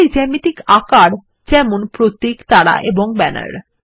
মৌলিক জ্যামিতিক আকার যেমন প্রতীক তারা এবং ব্যানার